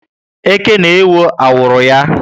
Eke na ewó awuru ya